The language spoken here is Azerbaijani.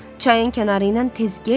Çayın kənarı ilə tez get,